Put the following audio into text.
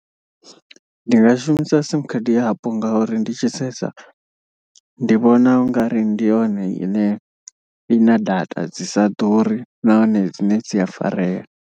Ndi nga shumisa sim khadi yapo ngauri ndi tshi sedza. Ndi vhona ungari ndi yone ine ina data dzi sa ḓuri nahone dzine dzi a farea.